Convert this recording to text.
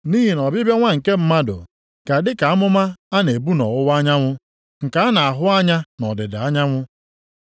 Nʼihi na ọbịbịa Nwa nke Mmadụ ga-adị ka amụma na-egbu nʼọwụwa anyanwụ nke a na-ahụ anya nʼọdịda anyanwụ.